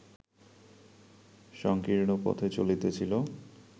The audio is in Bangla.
সঙ্কীর্ণ পথে চলিতেছিল